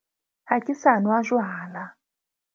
Ha ke sa nwa jwala.